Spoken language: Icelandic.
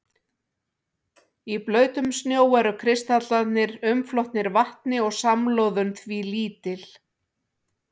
Í blautum snjó eru kristallarnir umflotnir vatni og samloðun því lítil.